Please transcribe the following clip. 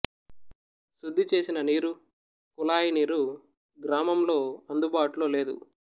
శుద్ధి చేసిన నీరు కుళాయి నీరు గ్రామంలో అందుబాటులో లేదు